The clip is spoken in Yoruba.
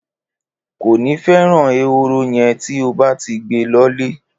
Kòní feran èhóró yen ti o báti gbé lõlé